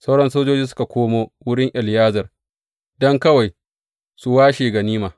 Sauran sojoji suka komo wurin Eleyazar, don kawai su washe ganima.